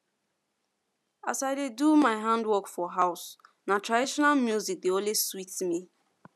as i dey do my handwork for house na traditional music dey always sweet me